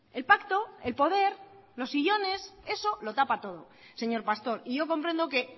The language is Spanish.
el pacto el poder los sillones eso lo tapa todo señor pastor y yo comprendo que